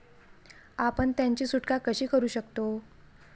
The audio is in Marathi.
आपण त्यांची सुटका कशी करू शकतो?